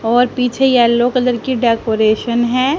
और पीछे yellow colour की डेकोरेशन है।